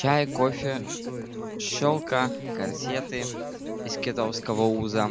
чай кофе шелка корсеты из китового уса